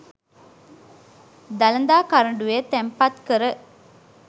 දළදා කරඬුවේ තැන්පත් කර